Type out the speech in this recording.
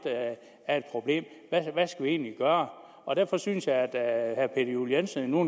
af et problem hvad skal vi egentlig gøre og derfor synes jeg at herre peter juel jensen nu